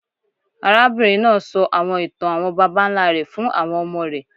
Arábìnrin náà sọ àwọn ìtàn àwọn babańlá rẹ̀ fún àwọn ọmọ rẹ̀.